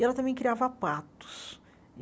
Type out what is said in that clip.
E ela também criava patos.